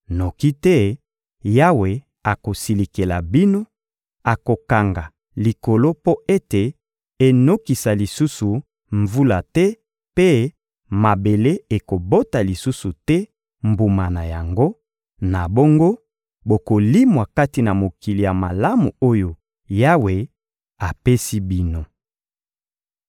noki te Yawe akosilikela bino, akokanga likolo mpo ete enokisa lisusu mvula te mpe mabele ekobota lisusu te mbuma na yango; na bongo bokolimwa kati na mokili ya malamu oyo Yawe apesi bino.